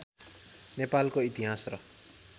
नेपालको इतिहास र